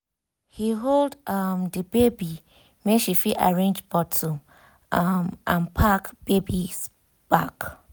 he hold um the baby make she fit arrange bottle um and pack baby um bag